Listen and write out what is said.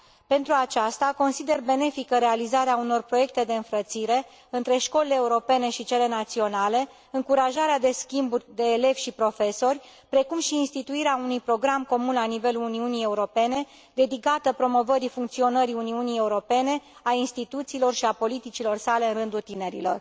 Pentru aceasta consider benefică realizarea unor proiecte de înfrățire între școlile europene și cele naționale, încurajarea de schimburi de elevi și profesori, precum și instituirea unui program comun la nivelul Uniunii Europene dedicat promovării funcționării Uniunii Europene, a instituțiilor și a politicilor sale în rândul tinerilor.